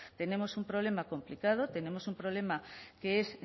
tenemos un problema complicado tenemos un problema que es